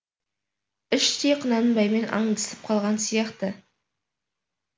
іштей құнанбаймен аңдысып қалған сияқты